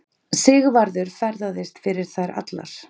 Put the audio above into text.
Sigvarður ferðaðist fyrir þær allar.